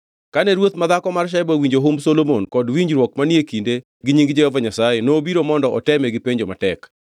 Kane ruoth madhako mar Sheba owinjo humb Solomon kod winjruok manie kinde gi nying Jehova Nyasaye, nobiro mondo oteme gi penjo matek.